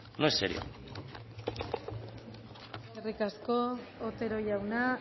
no es serio eskerrik asko otero jauna